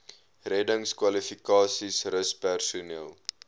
reddingskwalifikasies rus personeel